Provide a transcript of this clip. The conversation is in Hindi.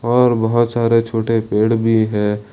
और बहोत सारे छोटे पेड़ भी हैं।